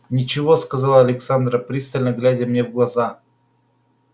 ничего сказала александра пристально глядя мне в глаза